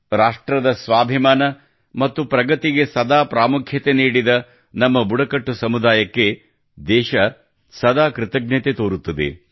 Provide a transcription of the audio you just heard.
ರಾಷ್ಟ್ರದ ಸ್ವಾಭಿಮಾನ ಮತ್ತು ಪ್ರಗತಿಗೆ ಸದಾ ಪ್ರಾಮುಖ್ಯತೆ ನೀಡಿದ ನಮ್ಮ ಬುಡಕಟ್ಟು ಸಮುದಾಯಕ್ಕೆ ದೇಶ ಸದಾ ಕೃತಜ್ಞತೆ ತೋರುತ್ತದೆ